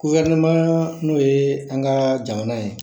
n'o ye an ka jamana ye